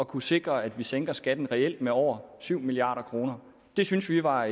kunne sikre at vi sænker skatten reelt med over syv milliard kroner det synes vi var